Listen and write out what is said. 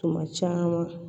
Tuma caman